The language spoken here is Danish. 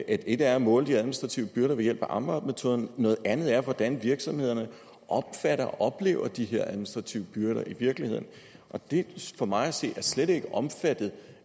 et er at måle de administrative byrder ved hjælp af amvab metoden noget andet er hvordan virksomhederne opfatter og oplever de her administrative byrder i virkeligheden det er for mig at se slet ikke omfattet